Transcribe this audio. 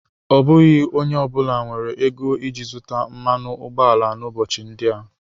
Ọ bụghị onye ọ bụla nwere ego iji zụta mmanụ ụgbọala n'ụbọchị ndị a.